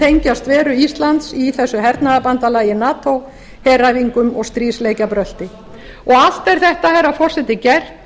tengjast veru íslands í þessu hernaðarbandalagi nato heræfingum og stríðsleikjabrölti allt er þetta herra forseti gert